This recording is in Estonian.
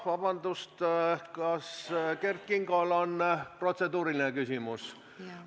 Vabandust, kas Kert Kingol on protseduuriline küsimus?